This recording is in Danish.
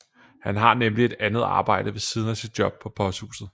Han har nemlig et andet arbejde ved siden af sit job på posthuset